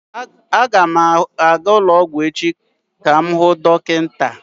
Aga m aga ụlọ ọgwụ echi ka m hụ dọkịta.